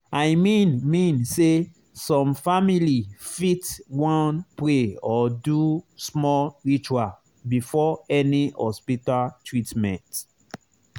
i mean mean say some family fit wan pray or do small ritual before any hospita treatment